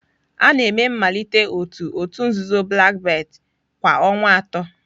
A na-eme mmalite otu òtù nzuzo Black belt kwa ọnwa atọ.